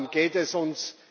Darum geht es uns.